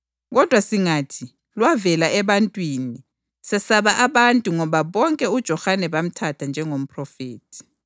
Kodwa singathi, ‘Lwavela ebantwini,’ sesaba abantu ngoba bonke uJohane bamthatha njengomphrofethi.”